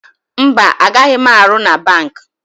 Mba, a gaghị m arụ na banki.